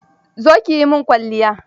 Zo ki yi min kwalliya.